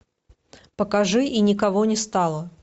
покажи и никого не стало